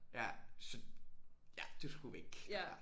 Ja så ja du skulle væk ja